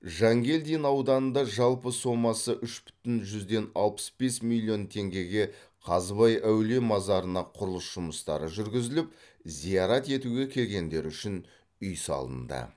жангелдин ауданында жалпы сомасы үш бүтін жүзден алпыс бес миллион теңгеге қазыбай әулие мазарына құрылыс жұмыстары жүргізіліп зиярат етуге келгендер үшін үй салынды